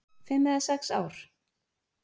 Fimm eða sex ár?